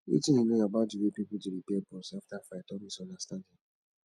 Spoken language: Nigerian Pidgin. wetin you know about di way people dey repair bonds after fight or misunderstanding